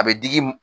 A bɛ digi